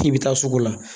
K'i bɛ taa sugu la